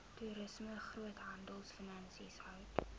toerisme groothandelfinansies hout